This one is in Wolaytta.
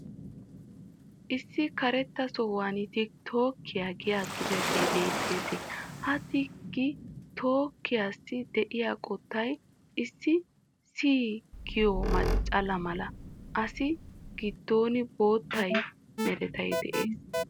Issi karettaa sohuwan tik tok giya xuufee beettees. Ha tik tokiyaasi de'iya qottay issi sii giyo machchala mala. Assi giddon boottaa meray de'ees.